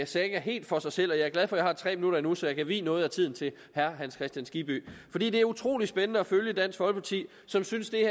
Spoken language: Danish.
saga helt for sig selv jeg er glad for at jeg har tre minutter endnu så jeg kan vie noget af tiden til herre hans kristian skibby det er utrolig spændende at følge dansk folkeparti som synes